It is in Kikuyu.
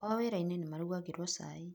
Kwao wĩra inĩ nĩ marugagĩrwo cai.